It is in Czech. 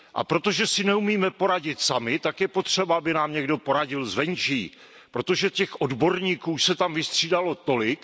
A protože si neumíme poradit sami, tak je potřeba, aby nám poradil někdo zvenčí, protože těch odborníků se tam vystřídalo tolik.